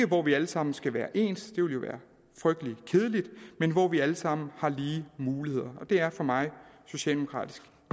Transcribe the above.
hvor vi alle sammen skal være ens det ville jo være frygtelig kedeligt men hvor vi alle sammen har lige muligheder og det er for mig socialdemokratisk